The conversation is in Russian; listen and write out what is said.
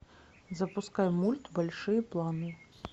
запускай мульт большие планы